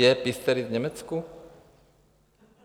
Je Piesteritz v Německu?